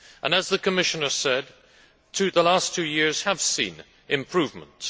As the Commissioner said, the last two years have seen improvements.